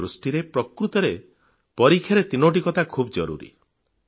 ମୋ ଦୃଷ୍ଟିରେ ପ୍ରକୃତରେ ପରୀକ୍ଷାରେ ତିନୋଟି କଥା ଖୁବ୍ ଜରୁରୀ